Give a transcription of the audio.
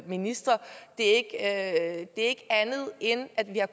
ministre det er ikke andet end at vi har